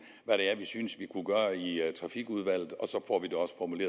hvad det er synes vi kunne gøre i trafikudvalget og så